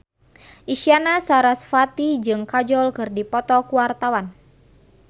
Isyana Sarasvati jeung Kajol keur dipoto ku wartawan